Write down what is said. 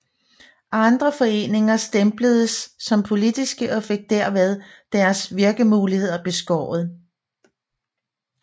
Andre foreninger stempledes som politiske og fik derved deres virkemuligheder beskåret